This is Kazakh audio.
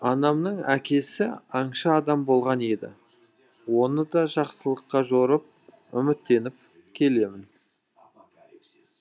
анамның әкесі аңшы адам болған еді оны да жақсылыққа жорып үміттеніп келемін